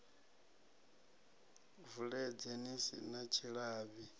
vuledze ni si na tshilavhi